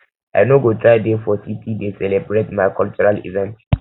i no go try dey for city dey celebrate my um cultural event